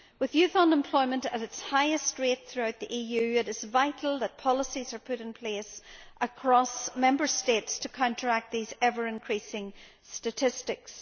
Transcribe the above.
With youth unemployment at its highest rate throughout the EU, it is vital that policies are put in place across Member States to counteract these ever increasing statistics.